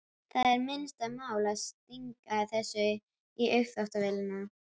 Það er minnsta málið að stinga þessu í uppþvottavélina.